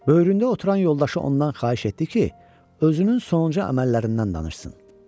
Böyründə oturan yoldaşı ondan xahiş etdi ki, özünün sonuncu əməllərindən danışsın.